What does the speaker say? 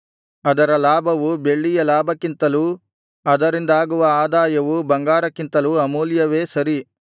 ಅದರ ಲಾಭವು ಬೆಳ್ಳಿಯ ಲಾಭಕ್ಕಿಂತಲೂ ಅದರಿಂದಾಗುವ ಆದಾಯವು ಬಂಗಾರಕ್ಕಿಂತಲೂ ಅಮೂಲ್ಯವೇ ಸರಿ